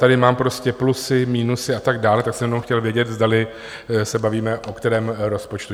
Tady mám prostě plusy, minusy a tak dále, tak jsem jenom chtěl vědět, zdali se bavíme o kterém rozpočtu.